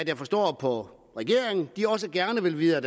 jeg forstår på regeringen de også gerne vil videre